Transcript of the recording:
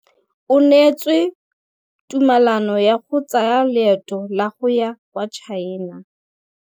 O neetswe tumalanô ya go tsaya loetô la go ya kwa China.